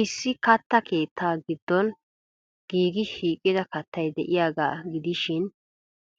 Issi katta keettaa giddon giigidi shiiqida kattay de'iyaaga gidishin,